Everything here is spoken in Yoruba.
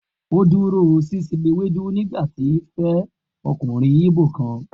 O duro sise ewedu nigbati o fe okunrin igbo kan